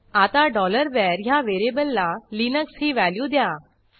आता var ह्या व्हेरिएबलला लिनक्स ही व्हॅल्यू द्या